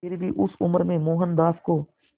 फिर भी उस उम्र में मोहनदास को